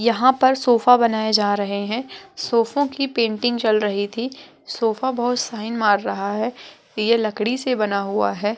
यहाँ पर सोफा बनाए जा रहे है सोफो की पेंटिंग चल रही थी| सोफा बहुत शाइन मार रहा है| ये लकड़ी से बना हुआ है।